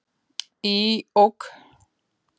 Í OK!